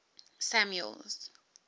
samuel's